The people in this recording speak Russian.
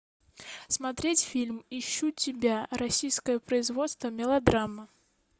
смотреть фильм ищу тебя российское производство мелодрама